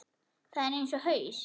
Það er eins og haus